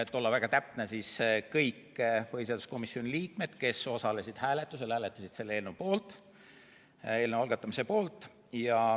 Kui olla väga täpne, siis kõik põhiseaduskomisjoni liikmed, kes osalesid hääletusel, hääletasid selle eelnõu algatamise poolt.